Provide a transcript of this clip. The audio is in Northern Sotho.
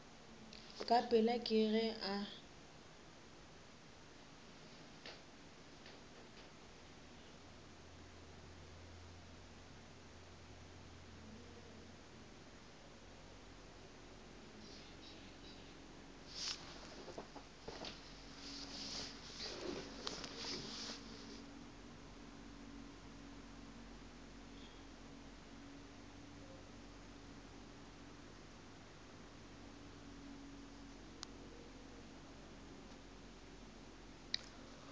ka pela ke ge a